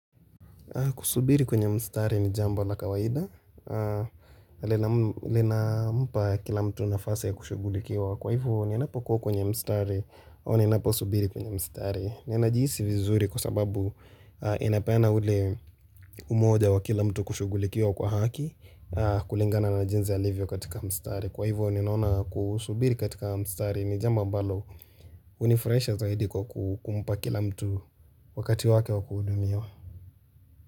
Kusubiri kwenye mstari ni jambo la kawaida, linampa kila mtu nafasi ya kushugulikiwa, kwa hivyo ninapo kwa kwenye mstari, au ninapo subiri kwenye mstari. Ni najihisi vizuri kwa sababu inapeana ule umoja wa kila mtu kushugulikiwa kwa haki, kulingana na jinzi alivyo katika mstari. Kwa hivyo ninaona kusubiri katika mstari ni jambo mbalo unifurahisha zaidi kwa kumpa kila mtu wakati wake wa kudumiwa.